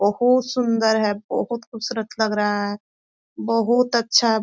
बहुत सुन्दर है बहुत खुबसूरत लग रहा है बहुत अच्छा है।